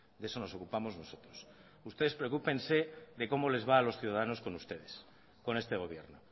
de eso nos ocupamos nosotros ustedes preocúpense de cómo les va a los ciudadanos con ustedes con este gobierno